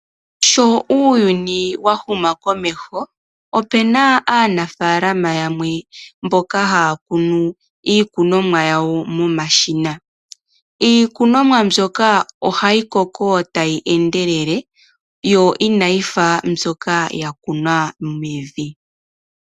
Sho uuyuni wa huma komeho, ope na aanafaalama yamwe mboka haya kunu iikunomwa yawo momashina. Iikunomwa mbyoka ohayi koko tayi endelele yo inayi fa mbyoka ya kunwa mevi.